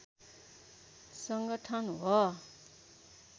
सङ्गठन हो